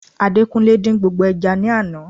Adekunle din gbogbo eja ni àná